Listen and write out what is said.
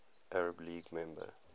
arab league member